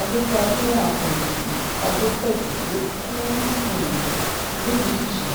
adéfọ́ajúwọ̀n àkànjì adépọ́jú ló kù um lójijì